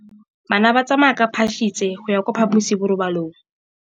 Bana ba tsamaya ka phašitshe go ya kwa phaposiborobalong.